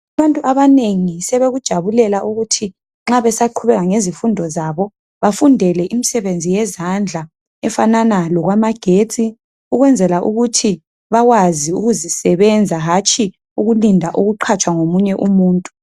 Abantu abanengi sebekujabulela ukuthi nxa besaqhubeka ngezifundo zabo bafundele imsebenzi yezandla efanana lokwamagetsi. Ukwenzela ukuthi bakwazi ukuzisebenza hatshi ukulinda ukuqhatshwa ngomunye umuntu.